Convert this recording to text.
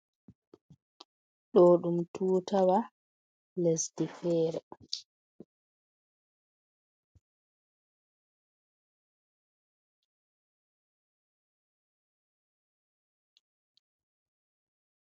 Ɗo ɗum tuutawa lesdi feere.